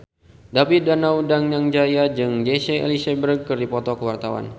David Danu Danangjaya jeung Jesse Eisenberg keur dipoto ku wartawan